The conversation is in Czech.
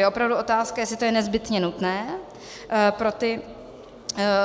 Je opravdu otázka, jestli je to nezbytně nutné pro ty